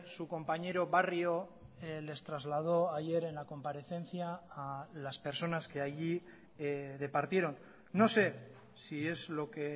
su compañero barrio les trasladó ayer en la comparecencia a las personas que allí departieron no sé si es lo que